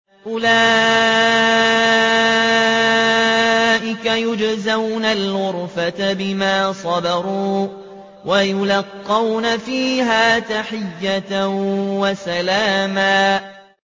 أُولَٰئِكَ يُجْزَوْنَ الْغُرْفَةَ بِمَا صَبَرُوا وَيُلَقَّوْنَ فِيهَا تَحِيَّةً وَسَلَامًا